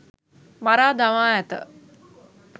මරා දමා ඇත